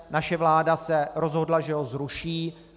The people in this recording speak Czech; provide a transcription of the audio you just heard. Naše vláda se rozhodla, že ho zruší.